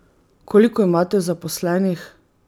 Koliko imate zaposlenih?